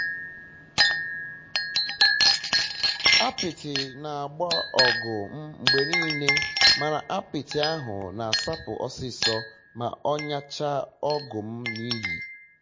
apịtị na agba na ọgụ m mgbe nile mana apịtị ahụ na asapụ ọsịsọ ma m nyachaa ọgụ m n'iyi